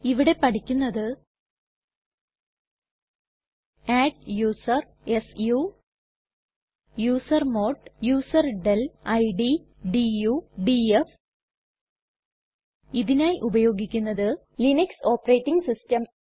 ഇവിടെ പഠിക്കുന്നത് adduser su usermod userdel id du df ഇതിനായി ഉപയോഗിക്കുന്നത് ലിനക്സ് ഓപ്പറേറ്റിംഗ് സിസ്റ്റം